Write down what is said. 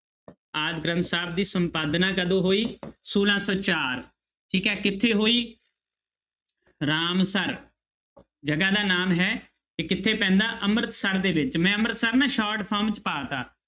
ਆਦਿ ਗ੍ਰੰਥ ਸਾਹਿਬ ਦੀ ਸੰਪਾਦਨਾ ਕਦੋਂ ਹੋਈ ਛੋਲਾਂ ਸੌ ਚਾਰ ਠੀਕ ਹੈ ਕਿੱਥੇ ਹੋਈ ਰਾਮਸਰ ਜਗ੍ਹਾ ਦਾ ਨਾਮ ਹੈ ਤੇ ਕਿੱਥੇ ਪੈਂਦਾ ਅੰਮ੍ਰਿਤਸਰ ਦੇ ਵਿੱਚ, ਮੈਂ ਅੰਮ੍ਰਿਤਸਰ ਨਾ short form 'ਚ ਪਾ ਦਿੱਤਾ।